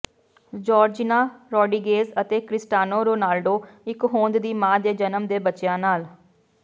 Georgina Rodriguez ਅਤੇ Cristiano Ronaldo ਇੱਕ ਹੋਂਦ ਦੀ ਮਾਂ ਦੇ ਜਨਮ ਦੇ ਬੱਚਿਆਂ ਨਾਲ